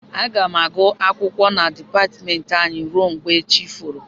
Aga m agụ akwụkwọ na dịpatmentị anyị rue mgbe chi foro